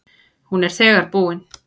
Hún er þegar búin.